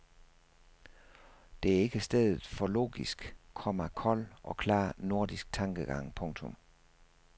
Dette er ikke stedet for logisk, komma kold og klar nordisk tankegang. punktum